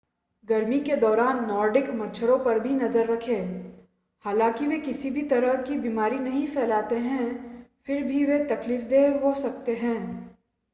गर्मी के दौरान नॉर्डिक मच्छरों पर भी नज़र रखें हालांकि वे किसी भी तरह की बीमारी नहीं फैलाते हैं फिर भी वे तकलीफ़देह हो सकते हैं